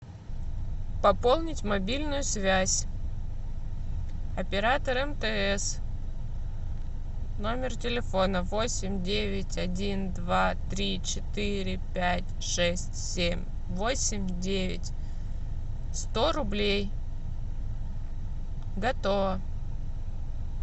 пополнить мобильную связь оператор мтс номер телефона восемь девять один два три четыре пять шесть семь восемь девять сто рублей готово